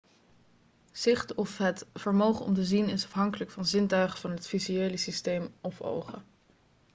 zicht of het vermogen om te zien is afhankelijk van zintuigen van het visuele systeem of ogen